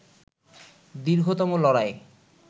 দীর্ঘতম লড়াই